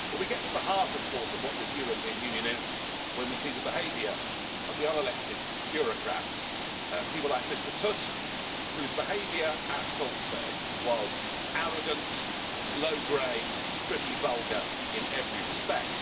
But we get to the heart of what this European Union is when we see the behaviour of the unelected bureaucrats, people like Mr Tusk, whose behaviour at Salzburg was arrogant, low-grade and pretty vulgar in every respect.